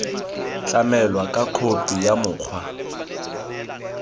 tlamelwa ka khophi ya mokgwa